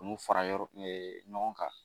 Ninnu fara yɔrɔ ɲɔgɔn kan